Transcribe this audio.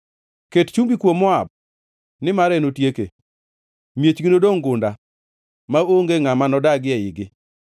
Ket chumbi kuom Moab, nimar enotieke; miechgi nodongʼ gunda, maonge ngʼama nodagi eigi.